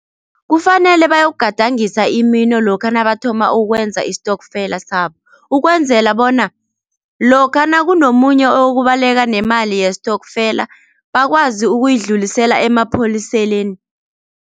Kufanele bayokugadangisa imino lokha nabathoma ukwenza istokfela sabo, ukwenzela bona lokha nakunomunye oyokubaleka nemali yestokfela bakwazi ukuyidlulisela emapholiseni.